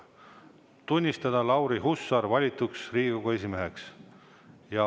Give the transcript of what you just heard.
Tunnistada Lauri Hussar valituks Riigikogu esimeheks.